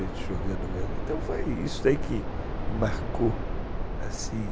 Então foi isso aí que marcou, assim.